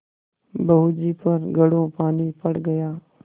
बहू जी पर घड़ों पानी पड़ गया